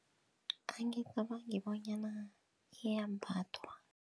Angicabangi bonyana iyambathwa.